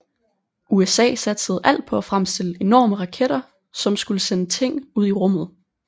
USA satsede alt på at fremstille enorme raketter som skulle sende ting ud i rummet